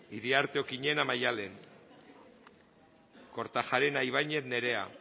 iriarte okiñena maddalen kortajarena ibañez nerea